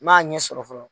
N m'a ɲɛ sɔrɔ fɔlɔ